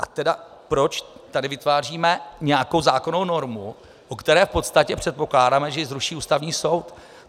A proč tady tedy vytváříme nějakou zákonnou normu, o které v podstatě předpokládáme, že ji zruší Ústavní soud?